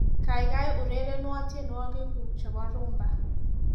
Kaikai urerenwo tiengowikgu chebo rhumba